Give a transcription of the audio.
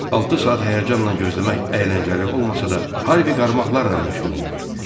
Altı saat həyəcanla gözləmək əyləncəli olmasa da, Harvey qarmaqlarla məşğul olur.